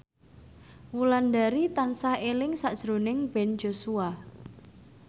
Wulandari tansah eling sakjroning Ben Joshua